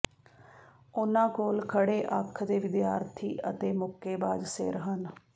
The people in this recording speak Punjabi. ਉਹਨਾਂ ਕੋਲ ਖੜ੍ਹੇ ਅੱਖ ਦੇ ਵਿਦਿਆਰਥੀ ਅਤੇ ਮੁੱਕੇਬਾਜ਼ ਸਿਰ ਹਨ